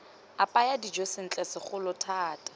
apaya dijo sentle segolo thata